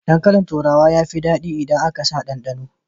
Dankalin turawa sun fi daɗi idan aka sa ɗanɗano.